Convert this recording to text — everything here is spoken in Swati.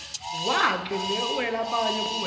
wakhe newalabanye kuwenta